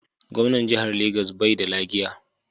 Gwamnan Jihar Lagos bai da lagiya.